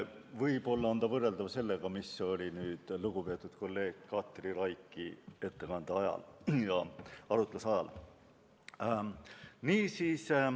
Võib-olla on ta võrreldav sellega, mis oli lugupeetud kolleeg Katri Raigi ettekande ajal ja arutluse ajal.